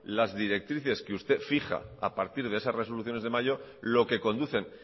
las directrices que usted fija a partir de esas resoluciones de mayo lo que conducen